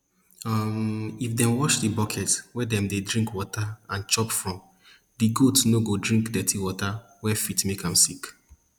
um if dem wash di bucket wey dem dey drink water and chop from di goat no go drink dirty water wey fit make am sick